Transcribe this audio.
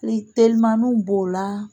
Telimanniw b'o la